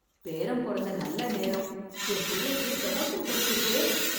பேரன் பொறந்த நல்ல நேரம்... என் பிள்ளைக்கு ப்ரொமோஷன் கெடைச்சிருக்கே...